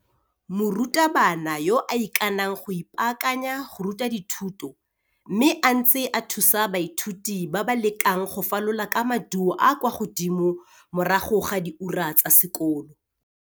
Morutabana yo a ikanang go ipaakanya go ruta dithuto mme a ntse a thusa baithuti ba ba lekang go falola ka maduo a a kwa godimo morago ga diura tsa sekolo,